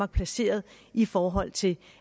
er placeret i forhold til